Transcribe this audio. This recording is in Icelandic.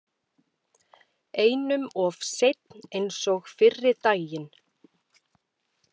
Einum of seinn eins og fyrri daginn!